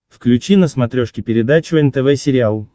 включи на смотрешке передачу нтв сериал